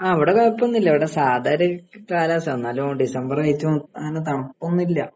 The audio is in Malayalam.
ആ ഇവിടെ കുഴപ്പമൊന്നുമില്ല ഇവിടെ സാധാരണ കാലാവസ്ഥയാ എന്നാലും ഡിസംബർ ആയിട്ടും അങ്ങനെ തണുപ്പൊന്നുല്ല.